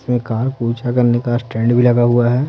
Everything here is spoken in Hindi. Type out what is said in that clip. इसमें करने का स्टैंड भी लगा हुआ है।